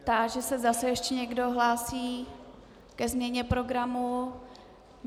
Táži se, zda se ještě někdo hlásí ke změně programu.